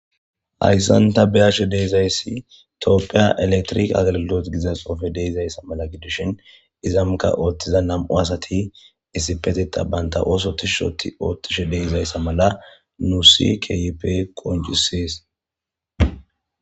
Haysan tabeyzzay tophiya elektimke agilgilotte gizza xuffey dizzaysa beyashe days ezzankka nam77u ti bana oso dirsha otishe dizza mala nussi kehippe qoncisees.